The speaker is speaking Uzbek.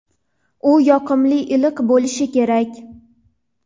u yoqimli iliq bo‘lishi kerak.